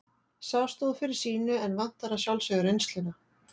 Sá stóð fyrir sínu en vantar að sjálfsögðu reynsluna.